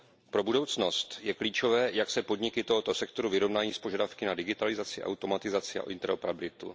Pro budoucnost je klíčové, jak se podniky tohoto sektoru vyrovnají s požadavky na digitalizaci, automatizaci a interoperabilitu.